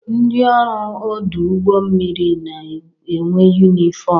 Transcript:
Ndị ọrụ ọdụ ụgbọ mmiri na-enwe yunifọm.